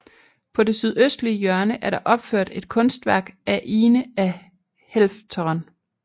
På det sydøstlige hjørne er der opført et kunstværk af Ine af Helfteren